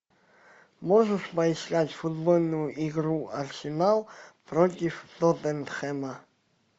можешь поискать футбольную игра арсенал против тоттенхэма